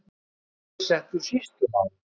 Þá var ég settur sýslumaður.